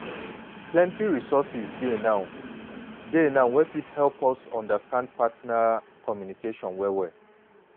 plenty resources dey now dey now wey fit help us understand partner… communication well well.